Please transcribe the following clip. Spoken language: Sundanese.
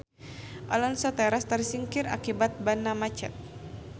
Alonso teras tersingkir akibat banna macet.